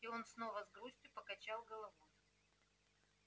и он снова с грустью покачал головой